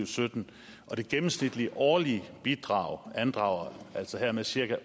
sytten og det gennemsnitlige årlige bidrag andrager altså hermed cirka